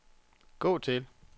gå til